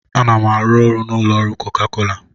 Ana m arụ ọrụ n'ụlọ ọrụ koka kola